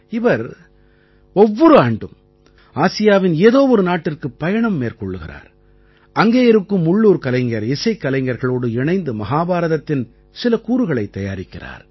இவர் ஒவ்வொரு ஆண்டும் ஆசியாவின் ஏதோ ஒரு நாட்டிற்கு பயணம் மேற்கொள்கிறார் அங்கே இருக்கும் உள்ளூர் கலைஞர் இசைக்கலைஞர்களோடு இணைந்து மஹாபாரதத்தின் சில கூறுகளைத் தயாரிக்கிறார்